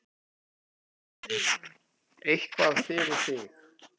Eitthvað fyrir þig